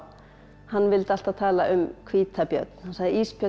hann vildi alltaf tala um hvítabjörn hann sagði ísbjörn er